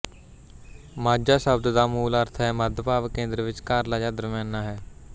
ਮਾਝਾ ਸ਼ਬਦ ਦਾ ਮੂਲ ਅਰਥ ਹੈ ਮੱਧ ਭਾਵ ਕੇਂਦਰ ਵਿਚਕਾਰਲਾ ਜਾਂ ਦਰਮਿਆਨਾ ਹੈ